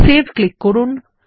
save click করুন